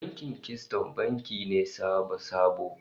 Bankin Kisiton banki ne sabo-sabo